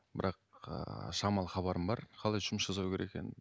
бірақ ыыы шамалы хабарым бар қалай жұмыс жасау керек екенін